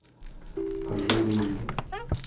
ожерелье